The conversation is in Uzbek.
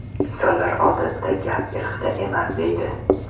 Insonlar odatda: ‘Gap irqda emas’, deydi.